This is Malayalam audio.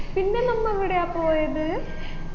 പിന്നെ നമ്മ എവിടെയാ പോയത്